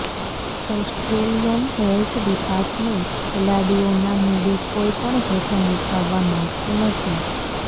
Australian health department ખેલાડીઓના મુદ્દે કોઈ પણ જોખમ ઉઠાવવા માગતું નથી